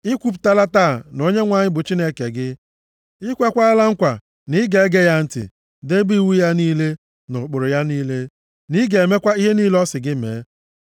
I kwupụtala taa na Onyenwe anyị bụ Chineke gị, i kweekwala nkwa na ị ga-ege ya ntị, debe iwu ya niile, na ụkpụrụ ya niile, na ị ga-emekwa ihe niile ọ sị gị mee.